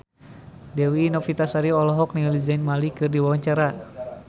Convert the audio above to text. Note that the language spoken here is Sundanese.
Dewi Novitasari olohok ningali Zayn Malik keur diwawancara